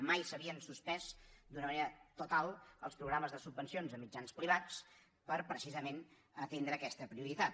mai s’havien suspès d’una manera total els programes de subven cions a mitjans privats per precisament atendre aquesta prioritat